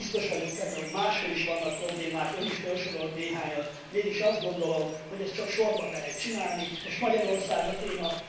Biztos vagyok benne, hogy máshol is vannak problémák, Ön is fölsorolt néhányat, mégis azt gondolom, hogy ezt csak sorban lehet csinálni, most Magyarország a téma.